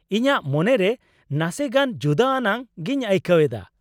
ᱤᱧᱟᱹᱜ ᱢᱚᱱᱮᱨᱮ ᱱᱟᱥᱮ ᱜᱟᱱ ᱡᱩᱫᱟᱹ ᱟᱱᱟᱜ ᱜᱤᱧ ᱟᱹᱭᱠᱟᱹᱣ ᱮᱫᱟ ᱾